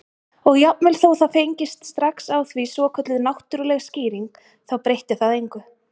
Og jafnvel þó það fengist strax á því svokölluð náttúrleg skýring þá breytti það engu.